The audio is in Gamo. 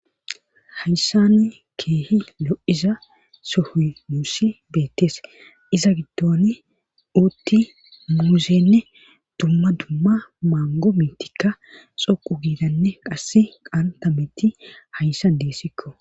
hayisani keehi lo'iza sohoey nuusi beettees iza giddon uutti muuzenne dumma dumma maango mitikka xoqu giidanne qass qantametti hayssan deessikko